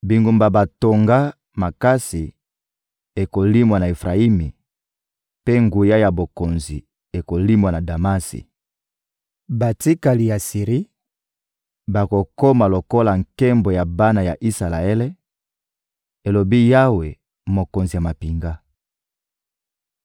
Bingumba batonga makasi ekolimwa na Efrayimi, mpe nguya ya bokonzi ekolimwa na Damasi. Batikali ya Siri bakokoma lokola nkembo ya bana ya Isalaele,» elobi Yawe, Mokonzi ya mampinga.